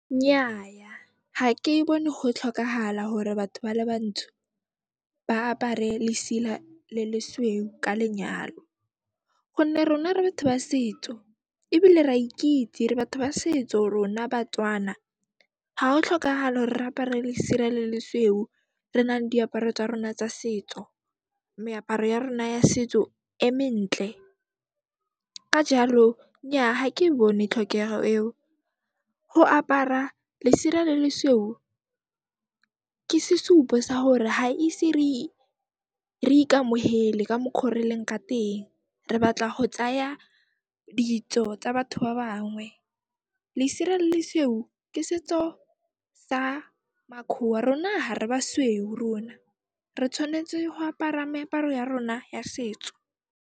Nnyaya, ha ke bone ho tlhokahala hore batho ba le bantsho ba apare lesela le le sweu ka lenyalo gonne rona re batho ba setso ebile ra e ikitse re batho ba setso rona Batswana. Ha o tlhokahale hore re apare lesira le lesweu re nale diaparo tsa rona tsa setso, meaparo ya rona ya setso e mentle. Ka jaalo nnyaa, ha ke e bone tlhokeho eo. Ho apara lesira le le sweu ke sesupo sa hore ha ise re ikamohele ka mokgo re leng ka teng, re batla go tsaya ditso tsa batho ba bangwe. Lesira le le sweu ke setso sa makhoa, rona ha re basweu rona. Re tshwanetse ho apara meaparo ya rona ya setso.